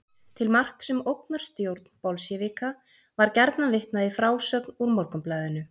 Til marks um ógnarstjórn bolsévíka var gjarnan vitnað í frásögn úr Morgunblaðinu.